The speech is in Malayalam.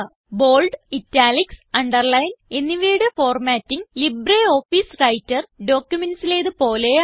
ബോൾഡ് ഇറ്റാലിക്സ് അണ്ടർലൈൻ എന്നിവയുടെ ഫോർമാറ്റിങ് ലിബ്രിയോഫീസ് വ്രൈട്ടർ documentsലേത് പോലെയാണ്